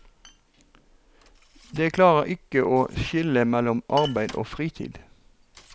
De klarer ikke å skille mellom arbeid og fritid.